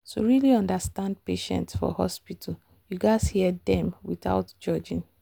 to really understand patient for hospital you gats hear dem without judging.